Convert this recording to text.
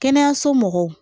Kɛnɛyaso mɔgɔw